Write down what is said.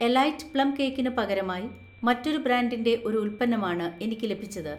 elite plum കേക്കിന് പകരമായി മറ്റൊരു ബ്രാൻഡിന്‍റെ ഒരു ഉൽപ്പന്നമാണ് എനിക്ക് ലഭിച്ചത്